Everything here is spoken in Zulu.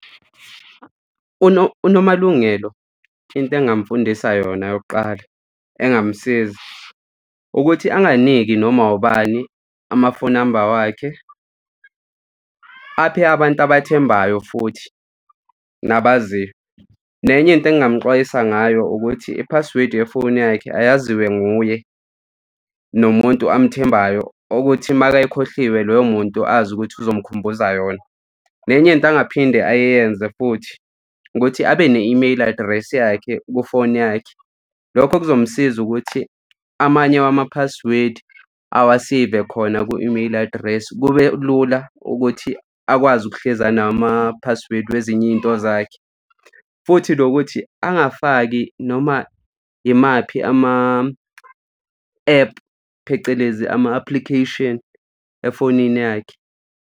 UNomalungelo, into engamfundisa yona yokuqala engamsiza ukuthi anganiki noma ubani ama-phone number wakhe aphe abantu abathembayo futhi nabaziwa. Nenye into engamxwayisa ngayo ukuthi i-password yefoni yakhe ayaziwe nguye nomuntu amthembayo ukuthi uma kayikhohliwe loyo muntu azi ukuthi uzomkhumbuza yona. Nenye into angaphinde ayenze futhi ukuthi abe ne-email address yakhe kufoni yakhe. Lokho kuzomsiza ukuthi amanye wama-password awaseve khona kwi-email address, kube lula ukuthi akwazi ukuhlezi anama-password kwezinye iy'nto zakhe. Futhi nokuthi angafaki noma imaphi ama-app phecelezi ama-application efonini yakhe.